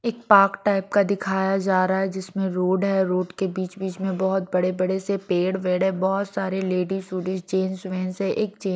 एक park type का दिखाया जा रहा है जिसमें रोड है रोड के बीच-बीच में बहुत बड़े-बड़े से पेड़ वेड़ है बहुत सारे लेडीज सूडीज चेंज है एक--